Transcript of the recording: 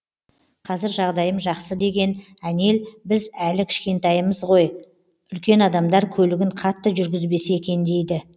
қазір жағдайым жақсы деген әнел біз әлі кішкентаймыз ғой үлкен адамдар көлігін қатты жүргізбесе екен дейді